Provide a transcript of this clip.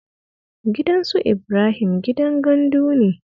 Gidan su Ibrahim gidan gandu ne